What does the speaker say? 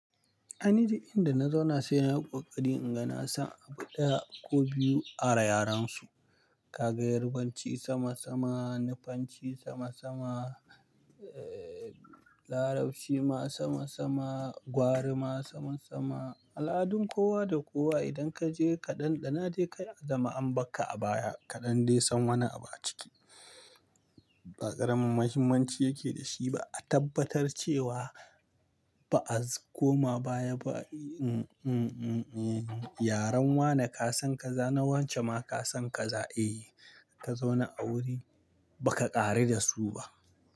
An duk ji inda na zauna sai nayi kokari in ga nasa abu ɗaya ko biyu ara yarensu. Ka ga Yarbanci sama sama, Nufanci sama sama, Larabci ma sama sama, Gwari ma saman sama. Al'adun kowa da kowa idan kaje ka dandana je ka zama an baka abaya kaɗan dai san wani abu a ciki. Ba ƙarin muhimmanci yake da shi ba, a tabbatar cewa ba a zama koma baya ba. Yaren wane ka san ka za, na wance ma ka san ka za, eh, ka zauna a wuri baka ƙare da su ba.